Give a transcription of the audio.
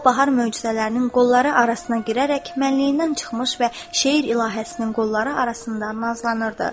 O bahar möcüzələrinin qolları arasına girərək mənliyindən çıxmış və şeir ilahəsinin qolları arasından nazlanırdı.